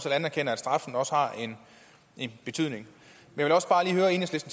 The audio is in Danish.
anerkender at straffen også har en betydning